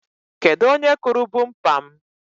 Kedụ onye kụrụ bumpa m?